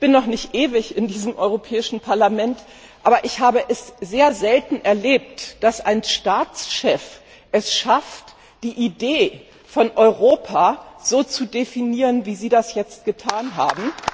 Ich bin noch nicht ewig in diesem Europäischen Parlament, aber ich habe es sehr selten erlebt, dass ein Staatschef es schafft, die Idee von Europa so zu definieren, wie Sie das jetzt getan haben,